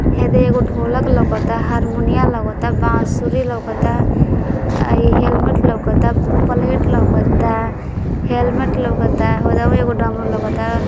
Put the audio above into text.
यह देख के ढोलक लग रहा है हारमोनियम लग रहा है बांसुरी लग रहा है हेलमेट लग रहा है प्लेट है हेलमेट लग रहा है हरदमिया का डमरू लग रहा है।